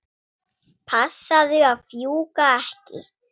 Passaðu að fjúka ekki.